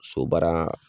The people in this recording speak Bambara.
So baara